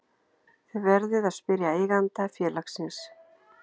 Þið verðið að spyrja eiganda félagsins